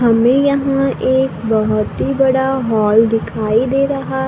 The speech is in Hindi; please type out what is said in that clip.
हमें यहां एक बोहोत ही बड़ा हॉल दिखाई दे रहा--